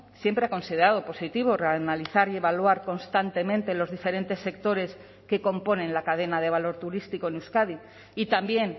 siempre ha considerado positivo analizar y evaluar constantemente los diferentes sectores que componen la cadena de valor turístico en euskadi y también